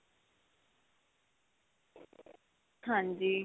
ਹਾਂਜੀ.